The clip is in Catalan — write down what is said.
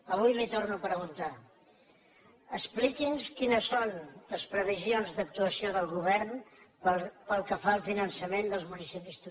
avui li ho torno a preguntar ex pliqui’ns quines són les previsions d’actuació del govern pel que fa al finançament dels municipis turístics